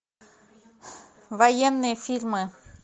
военные фильмы